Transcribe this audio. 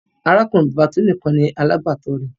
Arákùnrin-bàbá Tolú nìkan ni alágbàtọ́ rẹ̀